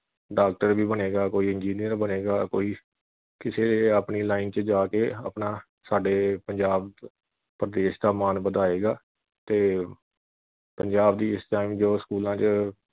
doctor ਵੀ ਬਣੇਗਾ ਕੋਈ engineer ਬਣੇਗਾ ਕੋਈ ਕਿਸੇ ਆਪਣੀ line ਵਿਚ ਜਾ ਕੇ ਆਪਣਾ ਸਾਡੇ ਪੰਜਾਬ ਪ੍ਰਦੇਸ਼ ਦਾ ਮਾਣ ਵਧਾਏਗਾ ਤੇ ਪੰਜਾਬ ਦੀ ਇਸ time ਜੋ ਸਕੂਲਾਂ ਵਿਚ